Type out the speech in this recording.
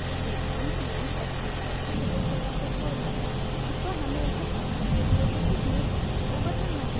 यदि आप pmsby की सदस्यता को छोड़ना चाहते हैं तो हमें ऐसा करने के लिए लिखित में बैंक को बताना है